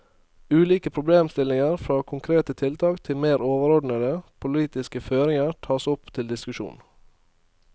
Ulike problemstillinger fra konkrete tiltak til mer overordnete, politiske føringer tas opp til diskusjon.